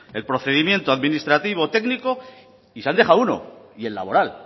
el procedimiento administrativo técnico y se han dejado uno y el laboral